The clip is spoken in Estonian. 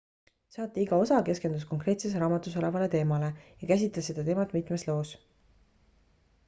saate iga osa keskendus konkreetses raamatus olevale teemale ja käsitles seda teemat mitmes loos